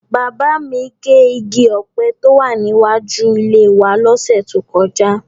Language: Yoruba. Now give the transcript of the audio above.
Bàbá mi gé igi ọ̀pẹ tó wà níwájú ilé wa lọ́sẹ̀ tó kọjá.